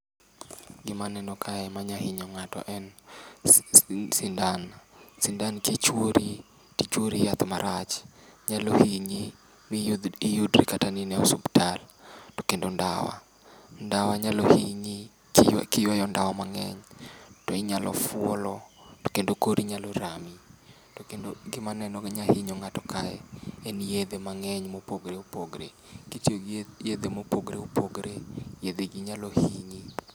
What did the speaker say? Gimaneno kae manya hinyo ng'ato en sindan, sindan kichwori tichwori yath marach. Nyalo hinyi miyudri kata ni in e osuptal. To kendo ndawa, ndawa nyalo hinyi kiywayo ndawa mang'eny, to inyalo fuolo to kendo kori nyalo rami. To kendo gimaneno gi nyahinyo ng'ato kae en yedhe mang'eny mopogre opogre. Kitiyo gi yedhe mopogre opogre, yedhe gi nyalo hinyi.